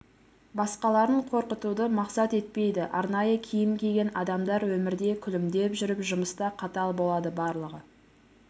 басқаларын қорқытуды мақсат етпейді арнайы киім киген адамдар өмірде күлімдеп жүріп жұмыста қатал болады барлығы